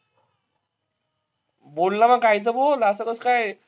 बोल ना मग काहीतर बोल. असं कसं काय?